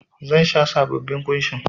Zan sa sabobbin kushin.